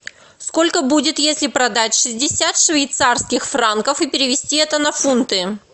сколько будет если продать шестьдесят швейцарских франков и перевести это на фунты